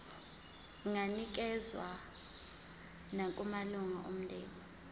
inganikezswa nakumalunga omndeni